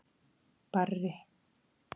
Barri